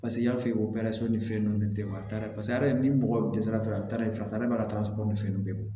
Paseke i y'a fɔ o bɛɛ la so ni fɛn ninnu tɛ mali paseke hali ni mɔgɔ tɛ sira fɛ a bɛ taa ye fasa bɛ ka taa sago ni fɛn ninnu bɛɛ bɔ